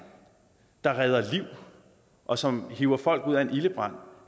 der redder liv og som hiver folk ud af en ildebrand